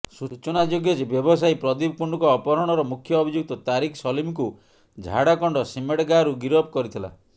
ସୂଚନାଯୋଗ୍ୟ ଯେ ବ୍ୟବସାୟୀ ପ୍ରଦୀପ କୁଣ୍ଡୁଙ୍କ ଅପହରଣର ମୁଖ୍ୟ ଅଭିଯୁକ୍ତ ତାରିକ ସଲିମକୁ ଝାଡ଼ଖଣ୍ଡ ସିମ୍ଡ଼େଗାରୁ ଗିରଫ କରିଥିଲା